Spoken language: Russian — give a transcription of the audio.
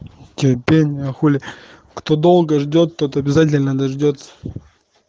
терпение хули кто долго ждёт тот обязательно дождётся